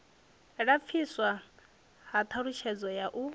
lapfiswa ha ṱhalutshedzo ya u